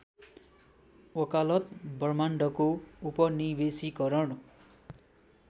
वकालत ब्रह्माण्डको उपनिवेशीकरण